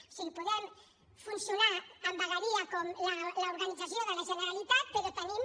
o sigui podem funcionar amb vegueria com l’organització de la generalitat però tenim